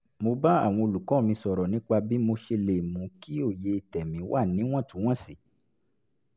mo bá àwọn olùkọ́ mi sọ̀rọ̀ nípa bí mo ṣe lè mú kí òye tẹ̀mí wà níwọ̀ntúnwọ̀nsì